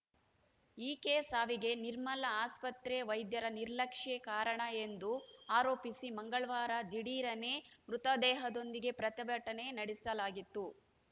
ಈಕೆ ಸಾವಿಗೆ ನಿರ್ಮಲ ಆಸ್ಪತ್ರೆ ವೈದ್ಯರ ನಿರ್ಲಕ್ಷ್ಯ ಕಾರಣ ಎಂದು ಆರೋಪಿಸಿ ಮಂಗಳವಾರ ದಿಢೀರನೆ ಮೃತದೇಹದೊಂದಿಗೆ ಪ್ರತಿಭಟನೆ ನಡೆಸಲಾಗಿತ್ತು